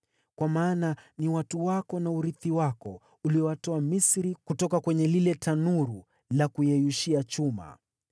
kwa maana ni watu wako na urithi wako, uliowatoa Misri, kutoka kwenye lile tanuru la kuyeyushia chuma.